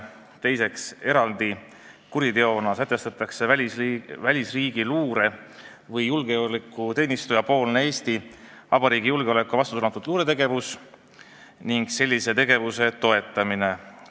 Teiseks, eraldi kuriteona sätestatakse välisriigi luure- või julgeolekuteenistuja luuretegevus, mis on suunatud Eesti Vabariigi julgeoleku vastu, ning sellise tegevuse toetamine.